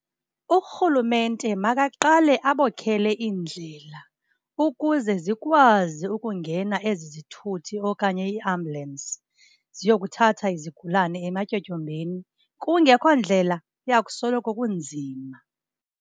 Urhulumente makaqale abokhele iindlela ukuze zikwazi ukungena ezi zithuthi okanye ii-ambulance ziyokuthatha izigulane ematyotyombeni. Kungekho ndlela, kuya kusoloko kunzima.